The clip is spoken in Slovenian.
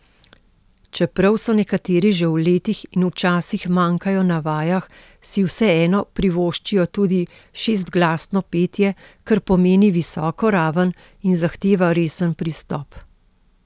Čeprav so nekateri že v letih in včasih manjkajo na vajah, si vseeno privoščijo tudi šestglasno petje, kar pomeni visoko raven in zahteva resen pristop.